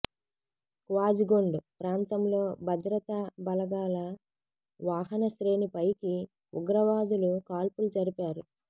క్వాజిగుండ్ ప్రాంతంలో భద్రతా బలగాల వాహన శ్రేణిపైకి ఉగ్రవాదులు కాల్పులు జరిపారు